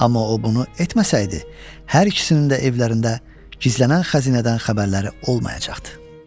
Amma o bunu etməsəydi, hər ikisinin də evlərində gizlənən xəzinədən xəbərləri olmayacaqdı.